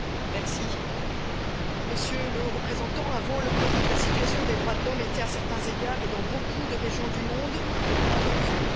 Monsieur le Président, Monsieur le Haut représentant, avant le COVID, la situation des droits de l'homme était, à certains égards, et dans beaucoup de régions du monde, en recul.